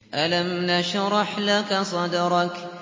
أَلَمْ نَشْرَحْ لَكَ صَدْرَكَ